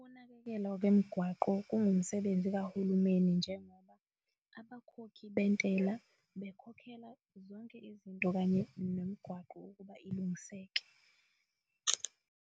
Ukunakekelwa kwemigwaqo kungumsebenzi kahulumeni, njengoba abakhokhi bentela bekhokhela zonke izinto okanye nomgwaqo ukuba ilungiseke.